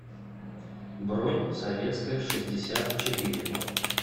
бронь советская шестьдесят четыре